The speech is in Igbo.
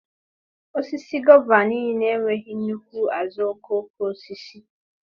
Osisi gova niile enweghị nnukwu azuokokoosisi.